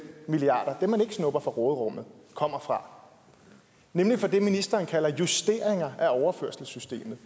milliard man ikke snupper fra råderummet kommer fra nemlig fra det ministeren kalder for justeringer af overførselssystemet